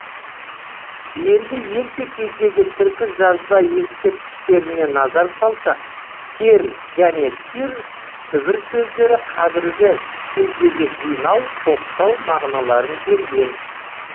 енді ерте кездегі түркі жазба ескерткіштеріне назар салсақ тер және тир түбір сөздері қазіргі кездегі жинау топтау мағыналарын берген